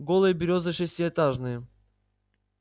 голые берёзы шестиэтажные